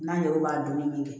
N'an yɛrɛ b'a dunni min kɛ